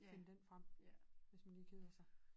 Finde den frem hvis man lige keder sig